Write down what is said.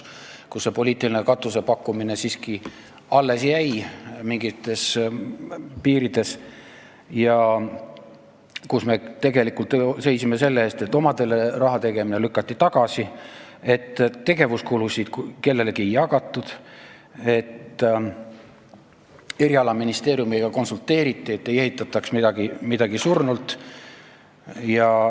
Poliitiline katuseraha pakkumine oli ka siis mingites piirides, aga me tegelikult seisime selle eest, et omadele raha eraldamine lükati tagasi, tegevuskulude katmiseks kellelegi midagi ei jagatud, konsulteeriti valdkonnaministeeriumiga, et ei ehitataks midagi surnult.